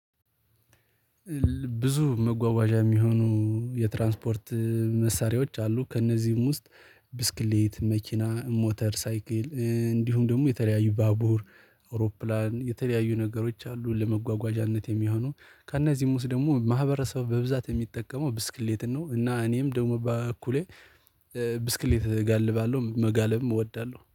ብዙ መጓጓዣ የሚሆኑ የትራንስፖርት መሳሪያዎች አሉ ከእነዚህም ውስጥ ብስክሌት መኪና ሞተር ሳይክል እንዲሁም ደግሞ የተለያዩ ባቡር አውሮፕላን የተለያዩ ነገሮች አሉ ለመጓጓዣነት የሚሆኑ። ከእነዚህም ውስጥ ደግሞ ማህበረሰብ በብዛት የሚጠቀመው ብስክሌትን ነው። እና እኔም ደግሞ በበኩሌ ብስክሌት እጋልባለሁ መጋለብም እወዳለሁ